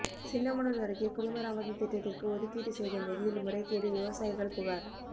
சின்னமனூா் அருகே குடிமராமத்து திட்டத்திற்கு ஒதுக்கீடு செய்த நிதியில் முறைகேடுவிவசாயிகள் புகாா்